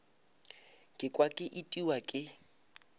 ka kwa ke itiwa ke